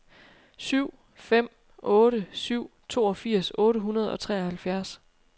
syv fem otte syv toogfirs otte hundrede og treoghalvfjerds